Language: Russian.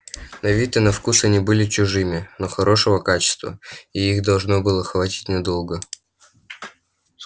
на вид и на вкус они были чужими но хорошего качества и их должно было хватить надолго